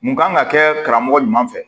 Mun kan ka kɛ karamɔgɔ ɲuman fɛ